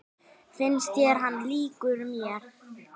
Finnst þér hann líkur mér?